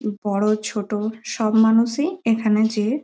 বড় ছোট সব মানুষই এখানে যেয়ে --